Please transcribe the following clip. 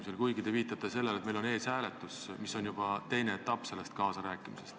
Te küll viitasite sellele, et meil on ees hääletus, aga see on juba teine etapp võimalikul kaasarääkimisel.